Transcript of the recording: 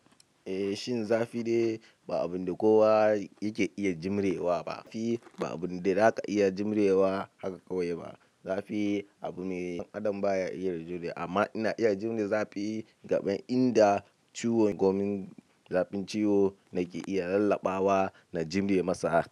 Eh, shin zafi dai ba abunda kowa yake iya jimre wa ba. Zafi ba abun da zaka iya jimre wa haka kawai ba. Zafi abune, ɗan adam baya iya ragewa. Amma ina iya jure zafi game inda ciwon gommin zafin ciwo nake iya rallaɓawa na jume masa haka.